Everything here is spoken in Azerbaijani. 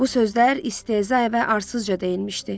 Bu sözlər istehza ilə arsızca deyilmişdi.